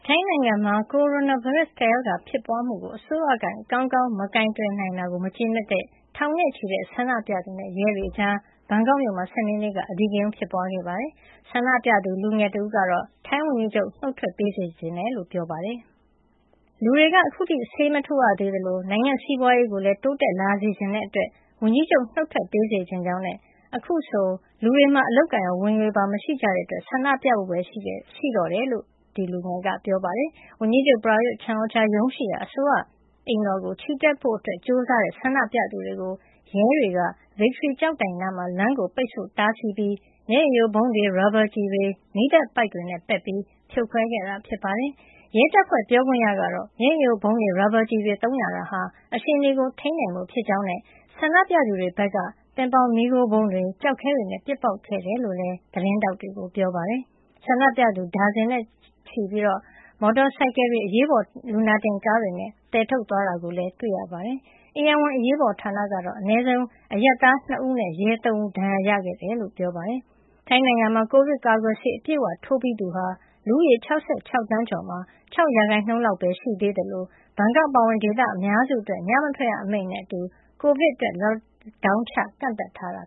ိုင်းနိုင်ငံမှာ ကိုရိုနာဗိုင်းရပ်စ် ကပ်ရောဂါဖြစ်ပွါးမှုကို အစိုးရက ကောင်းကောင်းမကိုင်တွယ်နိုင်တာကို မကျေနပ်တဲ့ ထောင်နဲ့ချီတဲ့ဆန္ဒပြသူ နဲ့ ရဲတွေကြား ဘန်ကောက်မြို့မှာ စနေနေ့က အဓိကရုဏ်း ဖြစ်ပွားခဲ့ပါတယ်။ ဆန္ဒပြသူ လူငယ်တဦးကတော့ ဝန်ကြီးချုပ် နုတ်ထွက်ပေးစေချင်တယ်လို့ ပြောပါတယ်။ " လူတွေက ခုထိ ဆေးမထိုးရသေးသလို နိုင်ငံ့စီးပွါးရေးကိုလည်း တိုးတက်လာစေချင်တဲ့ အတွက် ဝန်ကြီးချုပ် နုတ်ထွက်ပေးစေချင်ကြောင်းနဲ့ အခုဆို လူတွေမှာ အလုပ်အကိုင်ရော ဝင်ငွေပါ မရှိကြတဲ့အတွက် ဆန္ဒပြဖို့ပဲ ရှိတော့တယ် လို့ပြောသွားတာပါ။" ဝန်ကြီးချုပ် Prayuth Chan-ocha ရုံးရှိရာ အစိုးရအိမ်တော်ကို ချီတက်ဖို့ ကြိုးစားတဲ့ ဆန္ဒပြသူတွေကို ရဲတွေက Victory ကျောက်တိုင်နားမှာ လမ်းကို ပိတ်ဆို့ တားဆီးပြီး မျက်ရည်ယိုဗုံးတွေ၊ ရာဘာကျည်တွေ၊ မီးသတ်ပိုက်တွေနဲ့ ပက်ပြီး ဖြိုခွဲခဲ့တာဖြစ်ပါတယ်။ ရဲတပ်ဖွဲ့ ပြောခွင့်ရကတော့ မျက်ရည်ယိုဗုံးတွေ ရာဘာကျည်တွေ သုံးရတာဟာ အခြေနေကို ထိန်းနိုင်ဖို့ ဖြစ်ကြောင်းနဲ့ ဆန္ဒပြသူတွေက ပင်ပေါင်မီးခိုးဗုံးတွေ၊ ကျောက်ခဲတွေနဲ့ ပေါက်ခဲ့တယ်လို့လည်း သတင်းထောက်တွေကို ပြောပါတယ်။ ဒါဇင်နဲ့ချီတဲ့ ဆန္ဒပြသူတွေကို မော်တော်ဆိုင်ကယ်တွေ ၊ အရေးပေါ်လူနာတင်ကားတွေနဲ့ သယ်ထုတ်သွားတာ တွေ့ရပါတယ်။ ဧရာဝဏ်အရေးပေါ်ဌာနကတော့ အနည်းဆုံး အရပ်သား ၂ ဦးနဲ့ ရဲ ၃ ဦး ဒဏ်ရာရခဲ့တယ်လို့ ပြောပါတယ်။ ထိုင်းနိုင်ငံမှာ ကိုဗစ်ကာကွယ်ဆေး အပြည့်အ၀ ထိုးပြီးသူဟာ လူဦးရေ ၆၆ သန်းကျော်မှာ ၆ ရာခိုင်နှုန်း လောက်ပဲ ရှိသေးသလို ဘန်ကောက် အပါအဝင် ဒေသအများစုအတွက် ညမထွက်ရအမိန့်နဲ့အတူ ကိုဗစ်အတွက် Lockdown ချကန့်သတ်ထားတာ